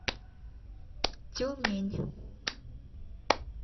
тюмень